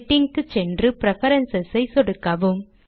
setting க்கு சென்று preferences ஐ சொடுக்கவும்